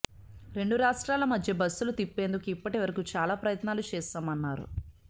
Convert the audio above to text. రెండు రాష్ట్రాల మధ్య బస్సులు తిప్పేందుకు ఇప్పటివరకు చాలా ప్రయత్నాలు చేశామన్నారు